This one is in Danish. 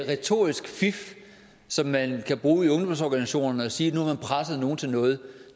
retorisk fif som man kan bruge i ungdomsorganisationerne at sige at nu har man presset nogle til noget